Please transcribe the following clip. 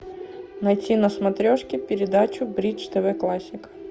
найти на смотрешке передачу бридж тв классик